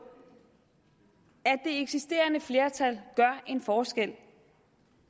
at eksisterende flertal gør en forskel